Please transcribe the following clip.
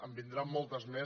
en vindran moltes més